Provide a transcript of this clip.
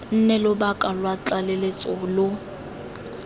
nne lobaka lwa tlaleletso lo